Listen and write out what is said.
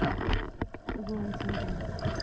rating clinic ਮਰੀਜ਼ ਦੀ ਇੱਕ ਛੋਟੀ ਜਿਹੀ ਗਿਣਤੀ ਦਾ ਅਧਿਐਨ